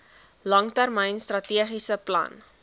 langtermyn strategiese plan